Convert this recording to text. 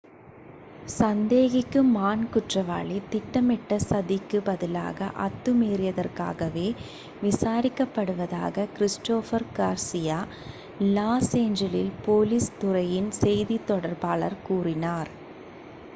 சந்தேகிக்கும் ஆண் குற்றவாளி திட்டமிட்ட சதிக்கு பதிலாக அத்துமீறியதற்காகவே விசாரிக்கப் படுவதாக Christopher Garcia Los Angeles police துறையின் செய்தித் தொடர்பாளர் கூறினார்